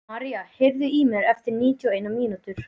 Marlín, heyrðu í mér eftir níutíu og eina mínútur.